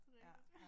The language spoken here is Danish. Det rigtigt